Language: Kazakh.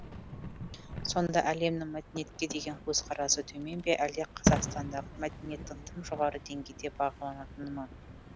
сонда әлемнің мәдениетке деген көзқарасы төмен бе әлде қазақстандағы мәдениеттің тым жоғары деңгейде бағаланатыны ма